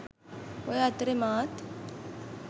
ඔය අතරේ මාත්